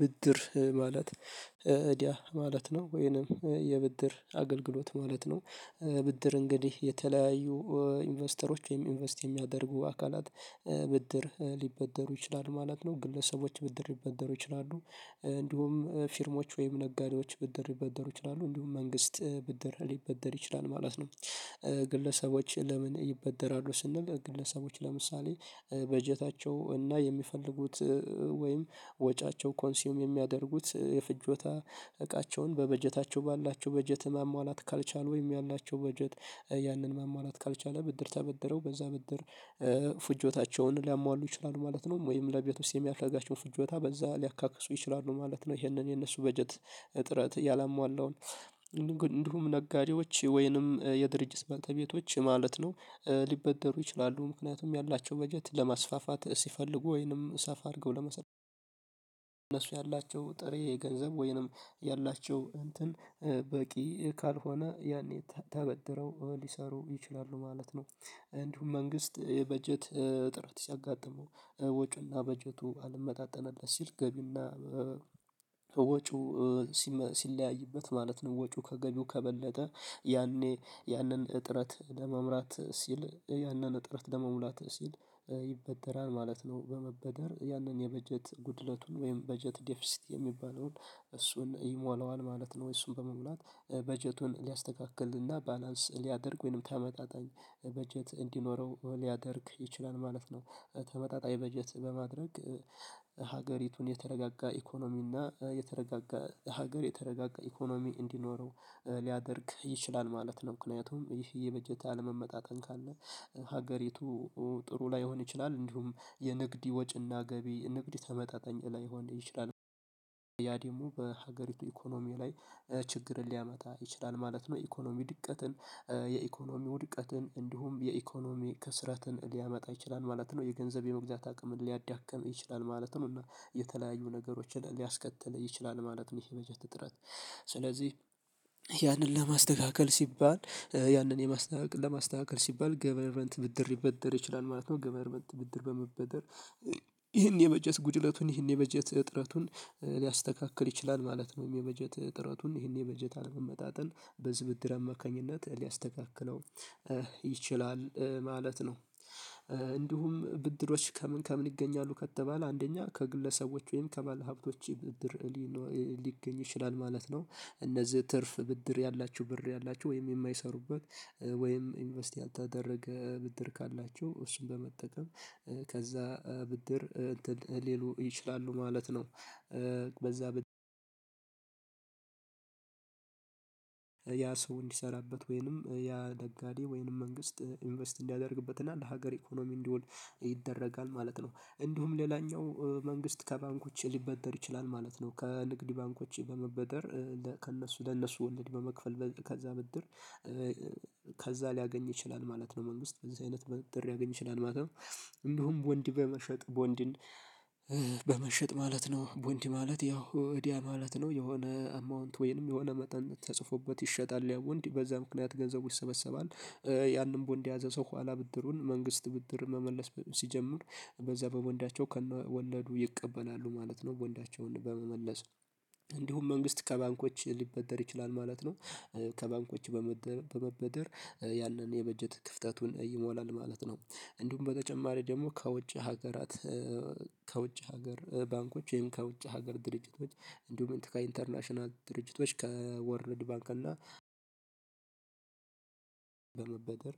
ብድር ማለት እዳ ማለት ነው ወይንም የብድር አገልግሎት ማለት ነው። ብድር እንግዲህ የተለያዩ ኢንቨስተሮች ወይም ኢንቨስት የሚያደርጉ አካላት። ብድር ሊበደሩ ይችላሉ ማለት ነው ግለሰቦች ብድር ሊበደሩ ይችላሉ እንዲሁም ፊርሞች ወይም ነጋዴዎች ብድር ሊበደሩ ይችላሉ እንዲሁም መንግስት ብድር ሊበደር ይችላል ማለት ነው። ግለሰቦች ለምን ይበደራሉ ስንል ግለሰቦች ለምሳሌ በጀታቸው እና የሚፈልጉት ወይም ወጫቸው ኮንሲዩም የሚያደርጉት የፍጆታ እቃቸውን በበጀታቸው ባላቸው በጀት ማሟላት ካልቻሉ ወይም ያላቸው በጀት ያንን ማሟላት ካልቻለ ብድር ተበደረው በዛ ብድር ፍጆታቸውን ሊያሟሉ ይችላሉ ማለት ነው። ወይም ለቤተሰብ የሚያስፍለጋቸውን ፍጆታ በዛ ሊያካክሱ ይችላሉ ማለት ነው። ይሄንን የነሱ በጀት ጥረት ያላሟላውን እንዲሁም ነጋዴዎች ወይንም የድርጅት ባልተቤቶች ማለት ነው። ሊበደሩ ይችላሉ ምክንያቱም ያላቸው በጀት ለማስፋፋት ሲፈልጉ ወይንም ሰፋ አድርገው ለመስራት ያላቸው ጥሬ ገንዘብ ወይንም ያላቸው እንትን በቂ ካልሆነ ያኔ ተበድረው ሊሰሩ ይችላሉ ማለት ነው። እንዲሁም መንግስት የበጀት እጥረት ሲያጋጥመው ወጪውና በጀቱ አልመጣጠነበት ሲል ገቢውና ወጪው ሲለያይበት ማለት ነው ወጪው ከገቢው ከበለጠ ያኔ ያንን እጥረት ለመምራት ሲል ያንን ጥረት ለመሙላት ሲል ይበደራል ማለት ነው። በመበደር ያንን የበጀት ጉድለቱን ወይም በጀት ዴፊሲቲ የሚባለውን እሱን ይሞላዋል ማለት ነው ወይ እሱን በመሙላት በጀቱን ሊያስተካክልና ባላንስ ሊያደርግ ወይንም ተመጣጣኝ በጀት እንዲኖረው ሊያደርግ ይችላል ማለት ነው። ተመጣጣኝ በጀት በማድረግ ሀገሪቱን የተረጋጋ ኢኮኖሚ እና የተረጋጋ ሀገር የተረጋጋ ኢኮኖሚ እንዲኖረው ሊያደርግ ይችላል ማለት ነው። ምክንያቱም ይህ በጀት አለመመጣጠን ካለ ሀገሪቱ ጥሩ ላይሆን ይችላል እንዲሁም የንግድ ወጪና ገቢ ንግድ ተመጣጣኝ ላይሆን ይችላል ያ ደግሞ በሀገሪቱ ኢኮኖሚ ላይ ችግርን ሊያመጣ ይችላል ማለት ነው። ኢኮኖሚ ድቀትን የኢኮኖሚ ውድቀትን እንዲሁም የኢኮኖሚ ከስራትን ሊያመጣ ይችላል ማለት ነው የገንዘብ የመግዛት አቅምን ሊያዳቅም ይችላል ማለት ነው እና የተለያዩ ነገሮችን ሊያስከትል ይችላል ማለት ነው። ይሄ የመጀት ጥረት ስለዚህ ያንን ለማስተካከል ሲባል ያንን የማስተካከል ለማስተካከል ሲባል ገቨርመንት በንት ብድር ሊበደር ይችላል ማለት ነው። ገቨርመንት ብድር በመበደር ይሄን የበጀት ጉድለቱን ይሄን የበጀት እጥረቱን ሊያስተካክል ይችላል ማለት ነው የበጀት እጥረቱን ይህን የበጀት አለመመጣጠን በዚህ ብድር አማካኝነት ሊያስተካክለው ይችላል ማለት ነው። እንዲሁም ብድሮች ከምን ከምን ይገኛሉ ከተባለ አንደኛ ከግለሰቦች ወይም ከባለሀብቶች ብድር ሊገኝ ይችላል ማለት ነው። እነዚህ ትርፍ ብድር ያላችሁ ብር ያላችሁ ወይም የማይሰሩበት ወይም ኢንቨስት ያልተደረገ ብድር ካላቸው እሱን በመጠቀም ከዛ ብድር እንትን ሊሉ ይችላሉ ማለት ነው። በዛ ብድር ያ ሰው እንዲሰራበት ወይንም ያ ነጋዴ ወይንም መንግስት ኢንቨስት እንዲያደርግበት እና ለሀገር ኢኮኖሚ እንዲውል ይደረጋል ማለት ነው። እንዲሁም ሌላኛው መንግስት ከባንኮች ሊበደር ይችላል ማለት ነው። ከንግድ ባንኮች በመበደር ከእነሱ ለእነሱ ወልድ በመክፈል ከዛ በድር ከዛ ሊያገኝ ይችላል ማለት ነው መንግስት በዚህ አይነት ብር ሊያገኝ ይችላል ማለት ነው። እንደውም ቦንድ በመሸጥ ቦንድን በመሸጥ ማለት ነው ቡንድ ማለት ያው እዳ ማለት ነው። የሆነ አማውንት ወይንም የሆነ መጠን ተጽፎበት ይሸጣል ያው ቦንድ በዛ ምክንያት ገንዘቡ ይሰበሰባል። ያንን ቦንድ የያዘ ሰው ኋላ ብድሩን መንግስት ብድር መመለስ ሲጀምር በዛ በቦንዳቸው ከነወለዱ ይቀበላሉ ማለት ነው። ቦንዳቸውን በመመለስ እንዲሁም መንግስት ከባንኮች ሊበደር ይችላል ማለት ነው። ከባንኮች በመበደር ያንን የበጀት ክፍተቱን ይሞላል ማለት ነው። እንዲሁም በተጨማሪ ደግሞ ከውጭ ሀገራት ከውጭ ሀገር ባንኮች ይሄም ከውጭ ሀገር ድርጅቶች እንዲሁም ከኢንተርናሽናል ድርጅቶች ከወርድ ባንክ እና በመበደር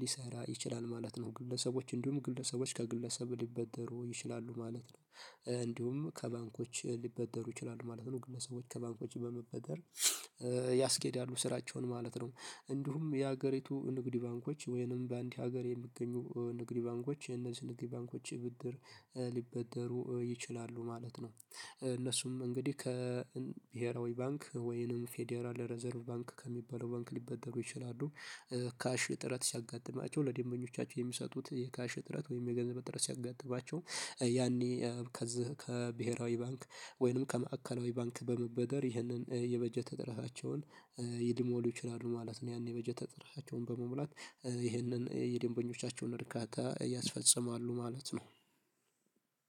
ሊሰራ ይችላል ማለት ነው። ግለሰቦች እንዲሁም ግለሰቦች ከግለሰብ ሊበደሩ ይችላሉ ማለት ነው። እንዲሁም ከባንኮች ሊበደሩ ይችላሉ ማለት ነው ግለሰቦች ከባንኮች በመበደር ያስኬዳሉ ስራቸውን ማለት ነው። እንዲሁም የሀገሪቱ ንግድ ባንኮች ወይንም በአንድ ሀገር የሚገኙ ንግድ ባንኮች የነዚህ ንግድ ባንኮች ብድር ሊበደሩ ይችላሉ ማለት ነው። እነሱም እንግዲህ ከብሄራዊ ባንክ ወይንም ፌዴራል ሪዘርቭ ባንክ ከሚባለው ባንክ ሊበደሩ ይችላሉ። ካሽ እጥረት ሲያጋጥማቸው ለደንበኞቻቸው የሚሰጡት የካሽ እጥረት ወይም የገንዘብ ጥረት ሲያጋጥማቸው ያኔ ከዚህ ከብሄራዊ ባንክ ወይንም ከማዕከላዊ ባንክ በመበደር ይህንን የበጀት እጥረታቸውን ሊሞሉ ይችላሉ ማለት ነው። ያኔ የበጀት እጥራቸውን በመሙላት ይህንን የደንበኞቻቸውን እርካታ ያስፈጽማሉ ማለት ነው።